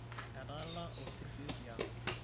etaara olpurishoi tiang